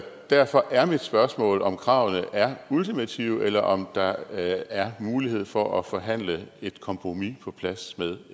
derfor er mit spørgsmål om kravene er ultimative eller om der er mulighed for at forhandle et kompromis på plads med